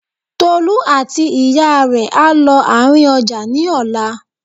Tolú àti ìyá rẹ̀ á lọ àárín ọjà ní ọ̀la